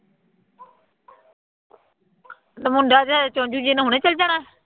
ਅਤੇ ਮੁੰਡਾ ਜਿਹਾ ਚੁੰਝ ਜਿਹੀ ਨੇ ਹੁਣੇ ਚੱਲ ਜਾਣਾ